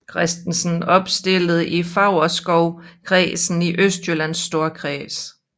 Christensen opstillet i Favrskovkredsen i Østjyllands Storkreds